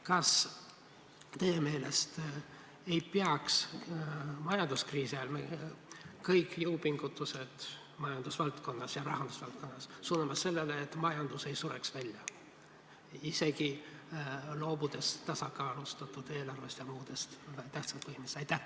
Kas teie meelest ei peaks majanduskriisi ajal kõik jõupingutused majandusvaldkonnas ja rahandusvaldkonnas suunama sellele, et majandus ei sureks välja, isegi loobudes tasakaalustatud eelarvest ja muudest tähtsatest põhimõtetest?